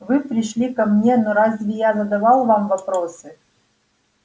вы пришли ко мне но разве я задавал вам вопросы